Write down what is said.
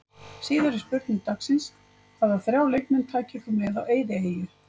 Síðari spurning dagsins: Hvaða þrjá leikmenn tækir þú með á eyðieyju?